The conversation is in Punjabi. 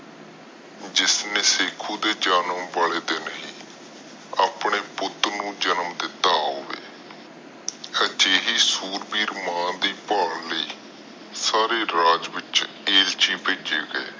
ਜਿਸਨੇ ਸਿਖੁ ਦੇ ਜਨਮ ਵਾਲੇ ਦਿਨ ਹੀ ਆਪਣੇ ਪੁੱਤ ਨੂੰ ਜਨਮ ਦਿਤਾ ਹੋਵੇ ਅਜੇਹੀ ਸੂਰਵੀਰ ਮਾਂ ਦੇ ਭਾਲ ਲਈ ਸਾਰੇ ਰਾਜ ਵਿਚ ਏਲਚੀ ਏਲਚੀ ਭੇਜੇ ਗਏ।